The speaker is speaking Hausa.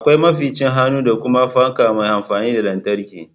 Akwai maficin hannu da kuma fanka mai amfani da lantarki